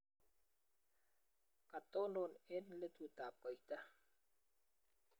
kotonon eng' letutab koita